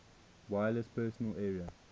wireless personal area